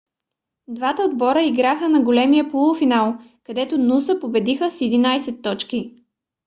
двата отбора играха на големия полуфинал където нуса победиха с 11 точки